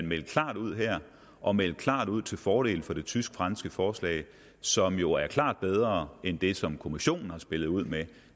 meldte klart ud og meldte klart ud til fordel for det tysk franske forslag som jo er klart bedre end det som kommissionen har spillet ud med